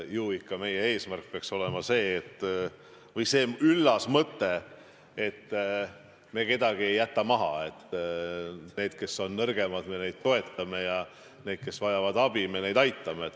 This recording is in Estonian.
Ju ikka peaks meie eesmärk olema see üllas mõte, et me ei jäta kedagi maha, et me neid, kes on nõrgemad, toetame, ja neid, kes vajavad abi, aitame.